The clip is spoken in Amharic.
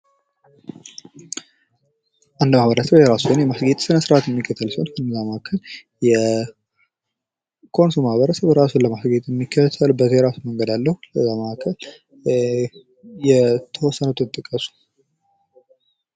አንድ ማህበረሰብ የራሱ የሆነ እምነት እና ስነ ስርዓት ለምስሌ የኮንሶ ማህበረሰብ የራሱ የሆነ የሚከተለው የራሱ የሆነ እምነት አለው። ከነዚያ መካከል የተወሰኑትን ጥቀሱ።